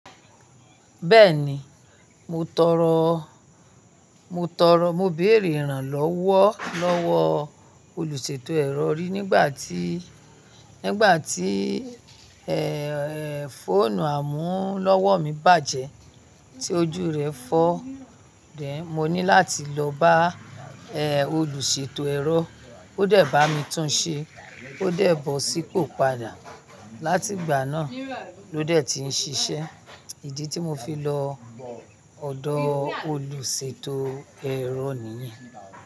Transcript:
Bẹ́ẹ̀ni, mo tọrọ, mo tọrọ, mo béèrè ìrànlọ́wọ́ lọ́wọ́ olùṣètò ẹ̀rọ rí nígbà tí, nígbà tí fóònù àmúlọ́wọ́ mi bàjẹ́ tí ojú rẹ̀ fọ́. Then mo ní láti lọ bá olùṣètò ẹ̀rọ. Ó dẹ̀ bá mi tún-un ṣe, ó dẹ̀ bọ́ sípò padà. Látìgbà náà ló dẹ̀ ti ń ṣiṣẹ́. Ìdí tí mo fi lọ ọ̀dọ̀ olùṣètò ẹ̀rọ nìyẹn.